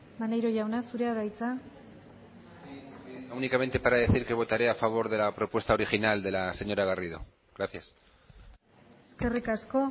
maneiro jauna zurea da hitza únicamente para decir que votaré a favor de la propuesta original de la señora garrido gracias eskerrik asko